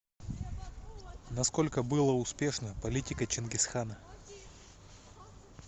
на сколько было успешно политика чингисхана